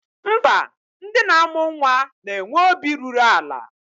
Mba, ndị na-amụ nnwa na-enwe obi ruru ala